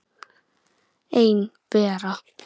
Ein vera.